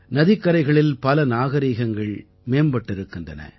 நதிக்கரைகளில் பல நாகரீகங்கள் மேம்பட்டிருக்கின்றன